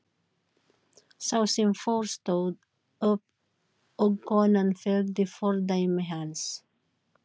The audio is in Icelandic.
Sá sem fór stóð upp og konan fylgdi fordæmi hans.